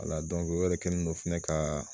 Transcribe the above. Ala o yɛrɛ kɛni no fɛnɛ ka